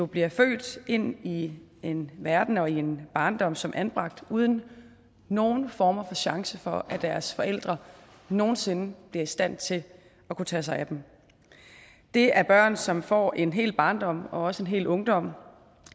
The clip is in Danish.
bliver født ind i en verden og en barndom som anbragt uden nogen form for chance for at deres forældre nogen sinde bliver i stand til at kunne tage sig af dem det er børn som få en hel barndom og også en hel ungdom